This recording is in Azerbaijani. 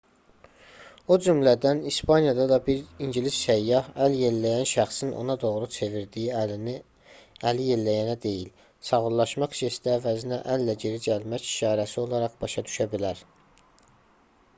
o cümlədən i̇spaniyada da bir ingilis səyyah əl yelləyən şəxsin ona doğru çevirdiyi əlini əlini yelləyənə deyil sağollaşmaq jesti əvəzinə əllə geri gəlmək işarəsi olaraq başa düşə bilər